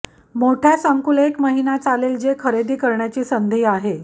मोठ्या संकुल एक महिना चालेल जे खरेदी करण्याची संधी आहे